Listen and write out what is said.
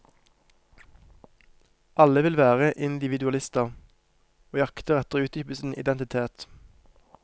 Alle vil være individualister, og jakter etter å utdype sin identitet.